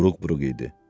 Buruq-buruq idi.